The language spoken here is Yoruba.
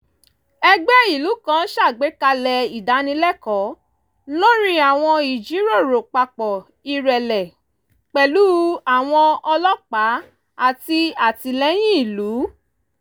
ẹgbẹ́ ìlú kan ṣàgbékalẹ̀ ìdánilẹ́kọ̀ọ́ lórí àwọn ìjíròrò papọ̀ ìrẹ̀lẹ̀ pẹ̀lú àwọn ọlọ́pàá àti àtìlẹ́yìn ìlú